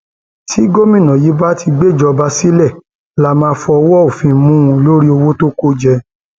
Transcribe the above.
tí gómìnà yìí bá ti gbéjọba sílẹ lá máa fọwọ òfin mú un lórí owó tó kó jẹ